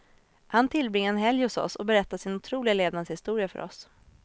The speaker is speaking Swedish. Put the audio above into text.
Han tillbringade en helg hos oss och berättade sin otroliga levnadshistoria för oss.